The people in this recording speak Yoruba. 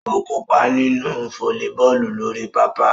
O kopa ninu folliboolu lori papa.